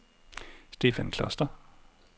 Stefan Kloster